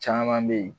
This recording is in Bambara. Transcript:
Caman be ye